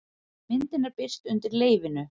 Myndin er birt undir leyfinu